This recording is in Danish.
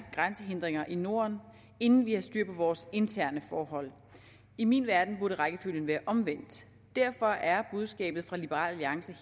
grænsehindringer i norden inden vi har styr på vores interne forhold i min verden burde rækkefølgen være omvendt derfor er budskabet fra liberal alliance